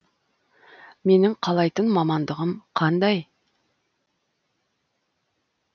менің қалайтын мамандығым қандай